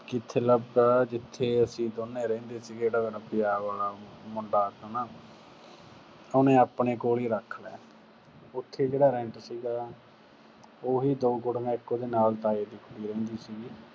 ਕਿੱਥੇ ਲੱਭਤਾ ਜਿੱਥੇ ਅਸੀਂ ਦੋਨੋਂ ਰਹਿੰਦੇ ਸੀਗੇ ਜਿਹੜਾ ਮੇਰਾ ਪੰਜਾਬ ਵਾਲਾ ਮੁੰਡਾ ਹਨਾ। ਉਹਨੇ ਆਪਣੇ ਕੋਲ ਹੀ ਰੱਖ ਲਿਆ। ਉੱਥੇ ਜਿਹੜਾ rent ਸੀਗਾ। ਉਹੀ ਦੋ ਜਿਹੜੀਆਂ ਇੱਕ ਉਹਦੇ ਨਾਲ ਤਾਏ ਦੀ ਕੁੜੀ ਰਹਿੰਦੀ ਸੀ।